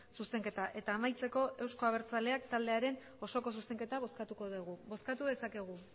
zuzenketa eta amaitzeko euzko abertzaleak taldearen osoko zuzenketa bozkatuko dugu bozkatu dezakegu